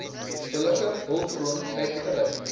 billike hulpbron uitgereik